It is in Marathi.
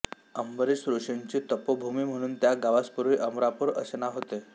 अंबरिष ऋषींची तपोभूमी म्हणून त्या गावास पूर्वी अमरापूर असे नाव होते